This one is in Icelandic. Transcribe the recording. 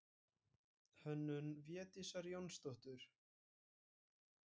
Hönnun Védísar Jónsdóttur.